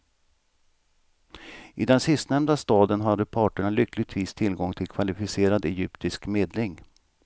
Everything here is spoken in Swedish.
I den sistnämnda staden hade parterna lyckligtvis tillgång till kvalificerad egyptisk medling.